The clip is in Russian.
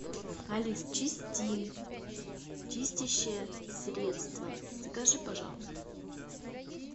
алиса чистин чистящее средство закажи пожалуйста